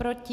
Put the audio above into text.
Proti?